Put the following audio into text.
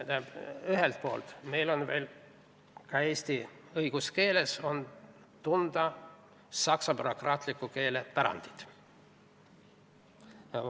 Samas on ühelt poolt eesti õiguskeeles tunda saksa bürokraatliku keele pärandit.